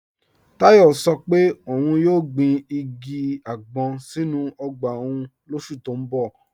Tayo sọ́ pé óun yóò gbìn igi agbọn sínu ogba ọ́un lósù tó n bọ̀.